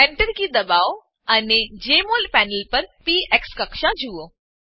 Enter કી દબાવો અને જેમોલ પેનલ પર પીએક્સ કક્ષા જુઓ